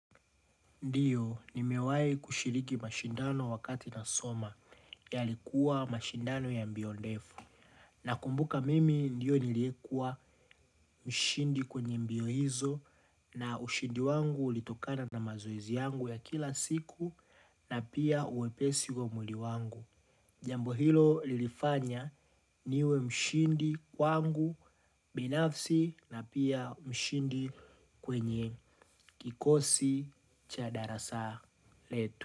Ndiyo, nimewai kushiriki mashindano wakati na soma yalikuwa mashindano ya mbio ndefu. Nakumbuka mimi ndiyo niliekua mshindi kwenye mbio hizo na ushindi wangu ulitokana na mazoezi yangu ya kila siku na pia uwepesi wa mwili wangu. Jambo hilo lilifanya niwe mshindi kwangu, binafsi na pia mshindi kwenye kikosi cha darasa letu.